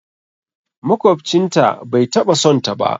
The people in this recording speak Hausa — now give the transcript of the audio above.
Makwabcin ta bai taɓa son ta ba